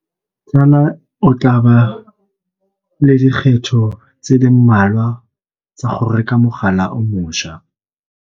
Tsala o tla ba le dikgetho tse le mmalwa tsa go reka mogala o mošwa.